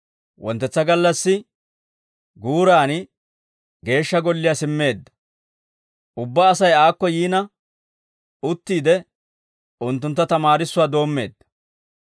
Wonttetsa gallassi guuran Geeshsha Golliyaa simmeedda; ubbaa Asay aakko yiina, uttiide unttuntta tamaarissuwaa doommeedda.